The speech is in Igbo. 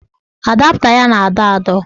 Adapta ya na-adọ adọ